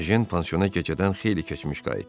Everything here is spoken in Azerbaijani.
Ejen pansiona gecədən xeyli keçmiş qayıtdı.